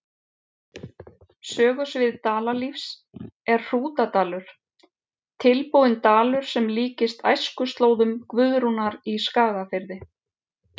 Sögusvið Dalalífs er Hrútadalur, tilbúinn dalur sem líkist æskuslóðum Guðrúnar í Skagafirði.